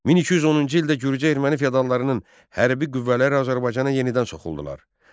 1210-cu ildə Gürcü-erməni feodallarının hərbi qüvvələri Azərbaycana yenidən soxuldular.